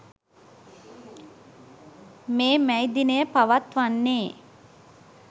මේ මැයි දිනය පවත්වන්නේ